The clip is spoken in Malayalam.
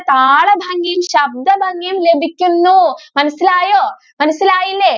താള ഭംഗിയും ശബ്ദ ഭംഗിയും ലഭിക്കുന്നു. മനസ്സിലായോ മനസ്സിലായില്ലേ?